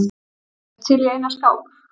Ertu til í eina skák?